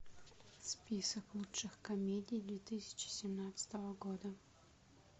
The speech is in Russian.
список лучших комедий две тысячи семнадцатого года